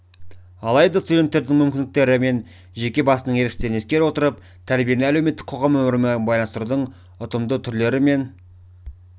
алайда студенттердің мүмкіндіктері мен жеке басының ерекшеліктерін ескере отырып тәрбиені әлеуметтік қоғам өмірімен байланыстырудың ұтымды түрлері мен